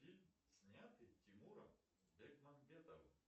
фильм снятый тимуром бекмамбетовым